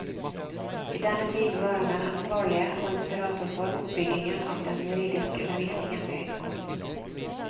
I denne tiden var han den ansvarlige, og inspirator for, oppbyggingen av den juridiske undervisningen ved høyskolen.